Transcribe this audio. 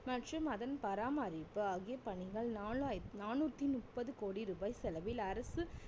மற்றும் அதன் பராமரிப்பு ஆகிய பணிகள் நாலா~ நாநூற்றி முப்பது கோடி ரூபாய் செலவில் அரசு